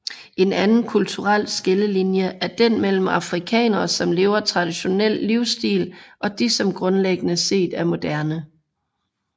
En anden kulturel skillelinje er den mellem afrikanere som lever traditionel livsstil og de som grundlæggende set er moderne